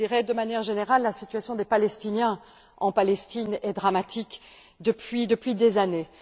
De manière générale, la situation des Palestiniens en Palestine est dramatique depuis des années.